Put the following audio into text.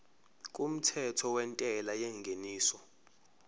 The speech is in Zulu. kumthetho wentela yengeniso